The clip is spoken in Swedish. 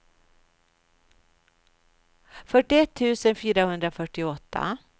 fyrtioett tusen fyrahundrafyrtioåtta